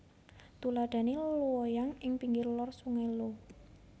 Tuladhane Luoyang ing pinggir Lor Sungai Luo